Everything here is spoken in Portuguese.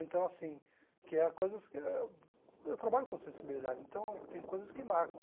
Então, assim, que há coisas que eu trabalho com sensibilidade, então tem coisas que marcam.